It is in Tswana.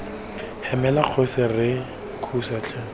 hemela kgosi re thuse tlhe